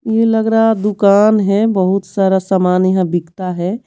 ये लग रहा दुकान है बहुत सारा सामान यहां बिकता है।